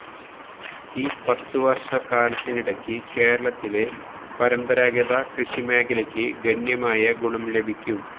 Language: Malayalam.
ഈ പത്തുവര്ഷ കാലത്തിനിടയ്ക്ക് കേരളത്തിലെ പരമ്പരാഗത കൃഷിമേഖലയ്ക്ക് ഗണ്യമായ ഗുണം ലഭിക്കും